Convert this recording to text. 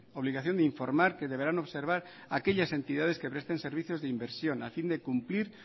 obligación de informar que deberán observar aquellas entidades que presten servicios de inversión a fin de cumplir